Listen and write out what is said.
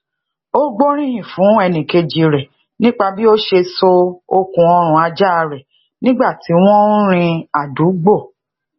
ó gbóríyìn fún enikeji re nípa bí ọ ṣe so okun orun ajaa re nígbà tí wón ń rìn adùúgbò